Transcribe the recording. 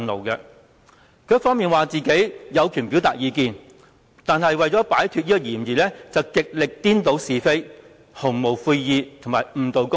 他一方面說自己有權表達意見，但另一方面為了擺脫嫌疑，竟然極力顛倒是非、毫無悔意及誤導公眾。